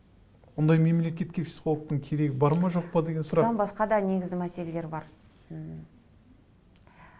ондай мемлекетке психологтың керегі бар ма жоқ па деген сұрақ басқа да негізі мәселелер бар